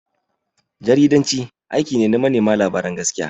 Jaridanci aiki ne na manema labaran gaskiya.